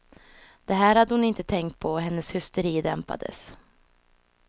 Det här hade hon inte tänkt på, och hennes hysteri dämpades.